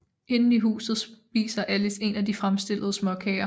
Inde i huset spiser Alice en af de fremstillede småkager